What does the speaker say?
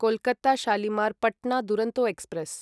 Kolkata Shalimar Patna Duronto express